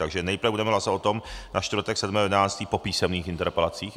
Takže nejprve budeme hlasovat o tom na čtvrtek 7. 11. po písemných interpelacích.